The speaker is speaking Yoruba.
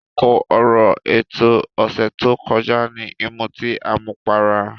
Kókó ọ̀rọ̀ ètò ọ̀sẹ̀ tó kọjá ni ìmutí àmupara.